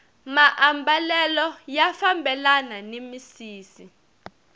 maambalelo ya fambelana ni misisi